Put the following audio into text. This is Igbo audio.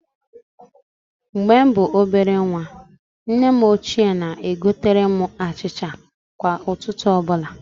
Mgbe m bụ ọbere nwa, nne m ochie na-egotere m achịcha kwa ụtụtụ ọbụla.